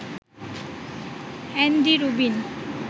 Andy Rubin